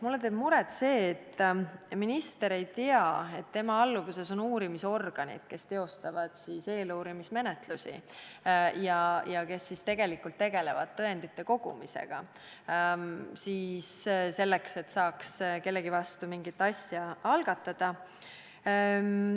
Mulle teeb muret see, et minister ei tea, et tema alluvuses on uurimisorganid, kes teostavad eeluurimismenetlusi ja kes tegelikult tegelevad tõendite kogumisega, selleks et saaks kellegi vastu mingi asja algatada.